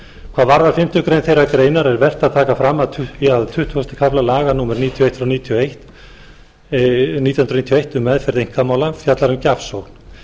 hvað varðar fimmtu málsgrein þeirrar greinar er vert að taka fram að tuttugasta kafli laga númer níutíu og eitt nítján hundruð níutíu og eitt um meðferð einkamála fjallar um gjafsókn